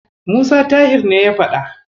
Musa Tahir ne ya faɗa.